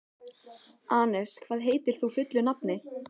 Anes, hvað heitir þú fullu nafni?